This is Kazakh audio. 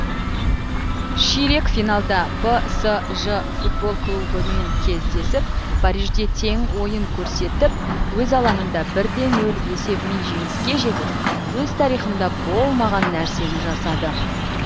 ширек финалда псж футбол клубымен кездесіп парижде тең ойын көрсетіп өз алаңында бірде нөл есебімен жеңіске жетіп өз тарихында болмаған нәрсені жасады